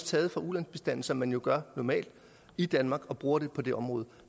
tages fra ulandsbistanden som man jo gør normalt i danmark og bruges på det område